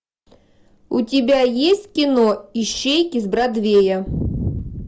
у тебя есть кино ищейки с бродвея